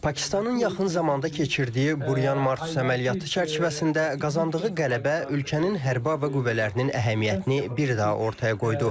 Pakistanın yaxın zamanda keçirdiyi Burian Martus əməliyyatı çərçivəsində qazandığı qələbə ölkənin hərbi hava qüvvələrinin əhəmiyyətini bir daha ortaya qoydu.